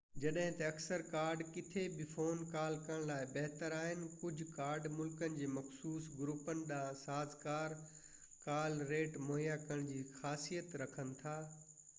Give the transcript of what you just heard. جڏهن ته اڪثر ڪارڊ ڪٿي به فون ڪال ڪرڻ لاءِ بهتر آهن ڪجهه ڪارڊ ملڪن جي مخصوص گروپن ڏانهن سازگار ڪال ريٽ مهيا ڪرڻ جي خاصيت رکن ٿا